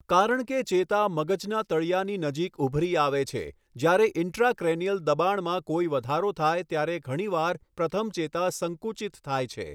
કારણ કે ચેતા મગજના તળિયાની નજીક ઉભરી આવે છે, જ્યારે ઇન્ટ્રાક્રેનિયલ દબાણમાં કોઈ વધારો થાય ત્યારે ઘણીવાર પ્રથમ ચેતા સંકુચિત થાય છે.